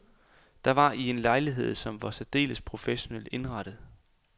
Det var i en lejlighed, som var særdeles professionelt indrettet.